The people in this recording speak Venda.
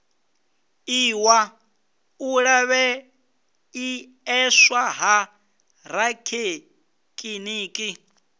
iwa u lavheieswa ha rathekiniki